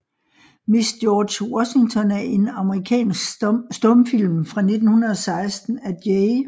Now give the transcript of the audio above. Miss George Washington er en amerikansk stumfilm fra 1916 af J